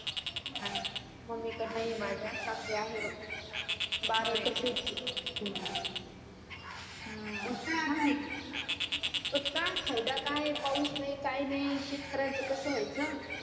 नाही नाही मम्मी कडे नाही माझ्या पण सासरे आहे बघ बारा एकर शेती आहे पण काय फायदा काय पाऊस नाही काही नाही शेतकर्‍यांच कस वायच